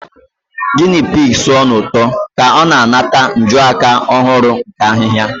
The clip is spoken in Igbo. Guinea pig sụọ n'ụtọ ka ọ na-anata njuaka ọhụrụ nke ahihia.